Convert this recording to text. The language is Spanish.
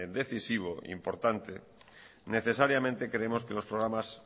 decisivo e importante necesariamente creemos que los programas